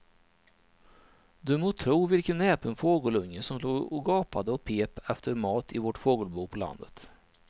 Du må tro vilken näpen fågelunge som låg och gapade och pep efter mat i vårt fågelbo på landet.